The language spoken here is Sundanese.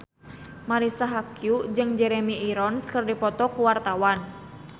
Marisa Haque jeung Jeremy Irons keur dipoto ku wartawan